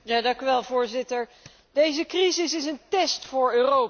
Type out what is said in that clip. Voorzitter, deze crisis is een test voor Europa.